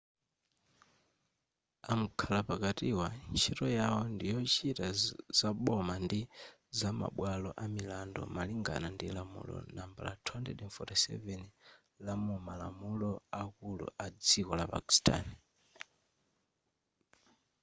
amkhala pakatiwa ntchito yawo ndiyochita zaboma ndi zamabwalo amilandu malingana ndi lamulo nambala 247 lamumalamulo akulu adziko la pakistani